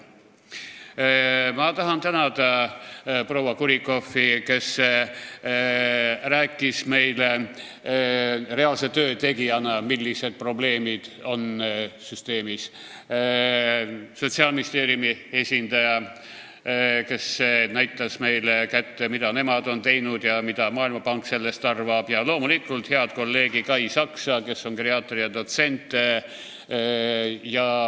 Ma tahan tänada proua Kurrikoffi, kes rääkis meile reaalse töö tegijana, millised probleemid süsteemis on, Sotsiaalministeeriumi esindajat, kes näitas meile kätte, mida nemad on teinud ja mida Maailmapank sellest arvab, ja loomulikult head kolleegi Kai Saksa, kes on geriaatria dotsent.